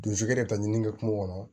Donsokɛ yɛrɛ ta ɲini kɛ kungo kɔnɔ